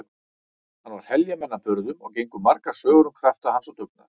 Hann var heljarmenni að burðum og gengu margar sögur um krafta hans og dugnað.